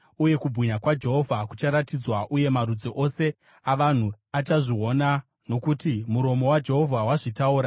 Uye kubwinya kwaJehovha kucharatidzwa, uye marudzi ose avanhu achazviona. Nokuti muromo waJehovha wazvitaura.”